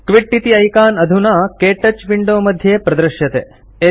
quit इति ऐकान् अधुना के टच विंडो मध्ये प्रदृश्यते